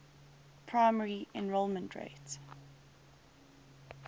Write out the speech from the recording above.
primary enrollment rate